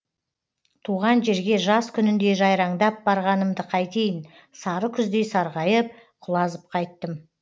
туған жерге жаз күніндей жайраңдап барғанымды қайтейін сары күздей сарғайып құлазып қайттым